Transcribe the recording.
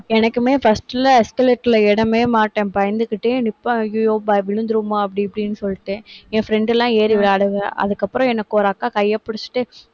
எனக்குமே first ல escalate ல ஏறவேமாட்டேன், பயந்துகிட்டே நிப்பேன் ஐயையோ, பய~ விழுந்திருவோமா அப்படி, இப்படின்னு சொல்லிட்டு, என் friend எல்லாம் ஏறி விளையாடுங்க. அதுக்கப்புறம், எனக்கு ஒரு அக்கா கைய புடிச்சிட்டு,